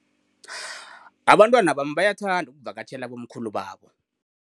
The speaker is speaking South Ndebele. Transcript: Abantwana bami bayathanda ukuvakatjhela abomkhulu babo.